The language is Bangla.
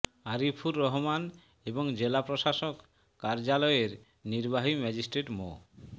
আরিফুর রহমান ও জেলা প্রশাসক কার্যালয়ের নির্বাহী ম্যাজিস্ট্রেট মো